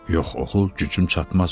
Yox oxul, gücüm çatmaz.